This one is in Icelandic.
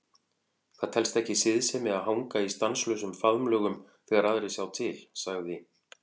Það telst ekki siðsemi að hanga í stanslausum faðmlögum þegar aðrir sjá til, sagði